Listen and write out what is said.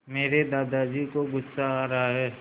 मेरे दादाजी को गुस्सा आ रहा है